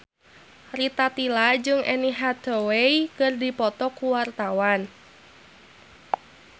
Rita Tila jeung Anne Hathaway keur dipoto ku wartawan